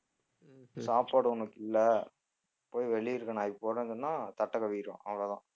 சாப்பாடு உனக்கு இல்லை போய் வெளிய இருக்கிற நாய்க்கு போடுறன்னு சொன்னா தட்டை கவ்விடுவான் அவ்வளோதான்